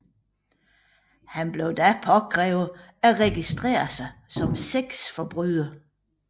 Han blev da påkrævet at registrere sig som sexforbryder